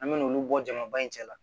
An me n'olu bɔ jama ba in cɛla